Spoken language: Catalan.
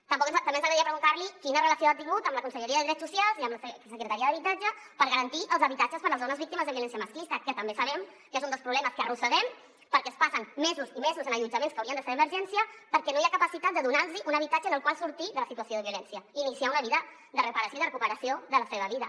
també ens agradaria preguntar li quina relació ha tingut amb la conselleria de drets socials i amb la secretaria d’habitatge per garantir els habitatges per a les dones víctimes de violència masclista que també sabem que és un dels problemes que arrosseguem perquè es passen mesos i mesos en allotjaments que haurien de ser d’emergència perquè no hi ha capacitat de donar los un habitatge amb el qual sortir de la situació de violència i iniciar una vida de reparació i de recuperació de la seva vida